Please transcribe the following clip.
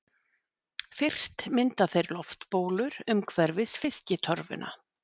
Fyrst mynda þeir loftbólur umhverfis fiskitorfuna.